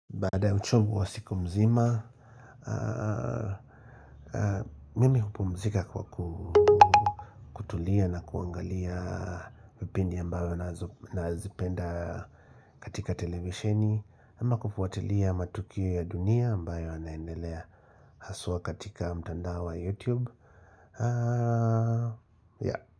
Baada ya uchovu wa siku mzima. Mimi hupumzika kwa kutulia na kuangalia vipindi ambavyo nazipenda katika televisheni. Ama kufuatilia matukio ya dunia ambayo yanaendelea. Haswa katika mtandao wa YouTube. Ya.